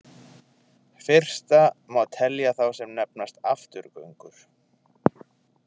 Fyrsta má telja þá sem nefnast afturgöngur.